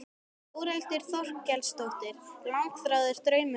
Þórhildur Þorkelsdóttir: Langþráður draumur að rætast?